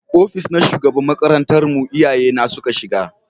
Ofis na shugaban makarantar mu iyaye na suka shiga